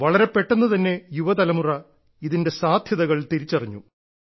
വളരെ പെട്ടെന്ന് തന്നെ യുവതലമുറ ഇതിന്റെ സാധ്യതകൾ തിരിച്ചറിഞ്ഞു